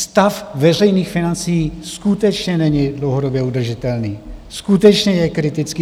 Stav veřejných financí skutečně není dlouhodobě udržitelný, skutečně je kritický.